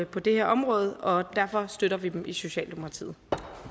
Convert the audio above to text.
på det her område og derfor støtter vi dem i socialdemokratiet